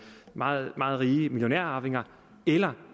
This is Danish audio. meget rige millionærarvinger eller